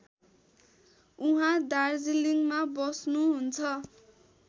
उहाँ दार्जीलिङमा बस्नुहुन्छ